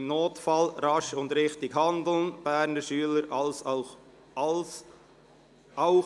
Im Notfall rasch und richtig handeln – Berner Schüler als Laienhelfer!».